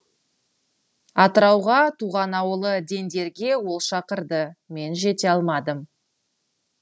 атырауға туған ауылы дендерге ол шақырды мен жете алмадым